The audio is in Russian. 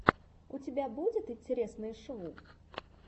у тебя будет интересные шоу